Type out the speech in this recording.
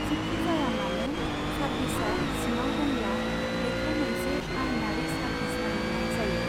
जिखिजायामानो, सार्भिसा सिङाव दंब्ला बेखौ मोनसे आइनारि सार्भिस मानिनाय जायो।